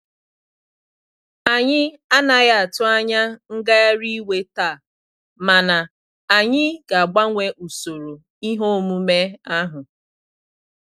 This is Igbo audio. Anyị anaghị atụ anya ngagharị iwe taa, mana anyị ga-agbanwee usoro ihe omume ahu.